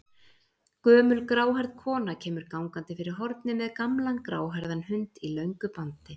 Gömul gráhærð kona kemur gangandi fyrir hornið með gamlan gráhærðan hund í löngu bandi.